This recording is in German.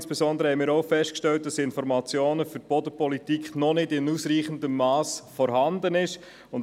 Insbesondere haben wir auch festgestellt, dass Informationen für die Bodenpolitik noch nicht in ausreichendem Mass vorhanden sind.